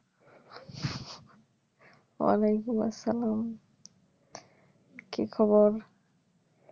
অলাইকুম আস্সালাম কি খবর?